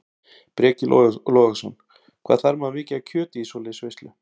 Breki Logason: Hvað þarf maður mikið af kjöti í svoleiðis veislu?